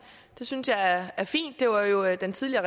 synes jeg er er fint det var jo den tidligere